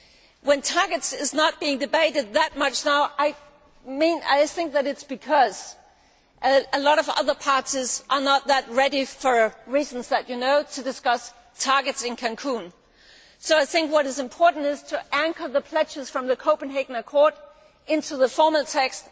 If targets are not being debated that much now, I think this is because a lot of other parties are not that ready for reasons that you know to discuss targets in Cancún. I think what is important is to anchor the pledges from the Copenhagen Accord into the formal text.